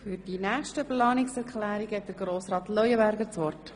Für die weiteren Planungserklärungen hat Grossrat Leuenberger das Wort.